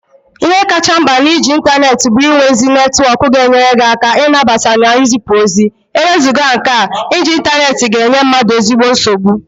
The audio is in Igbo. Ihe kacha nkpa na-iji intaneti bu inwe ezi netwok ga-enyere gi aka inabata na izipu ozi, ewezugha nke a, iji intaneti ga-enye mmadu ezigbo nsogbu.